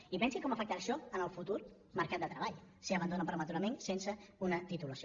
i pensi com afectarà això el futur mercat de treball si l’abandonen prematurament sense una titulació